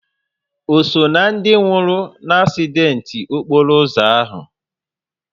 O so ná ndị nwụrụ n'asident okporo ụzọ ahụ?